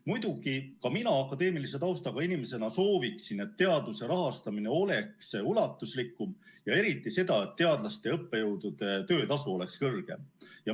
Muidugi, ka mina akadeemilise taustaga inimesena sooviksin, et teaduse rahastamine oleks ulatuslikum, ja eriti seda, et teadlaste ja õppejõudude töötasu oleks kõrgem.